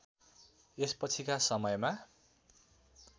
यसपछिका समयमा